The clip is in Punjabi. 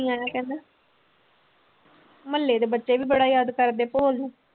ਆਇਆ ਕਹਿੰਦਾ ਮੁਹੱਲੇ ਦੇ ਬੱਚੇ ਵੀ ਬੜਾ ਯਾਦ ਕਰਦੇ ਭੋਲ ਨੂੰ।